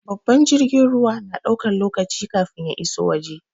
Babbar jirgin ruwa na ɗaukan lokaci kafin ya iso waje.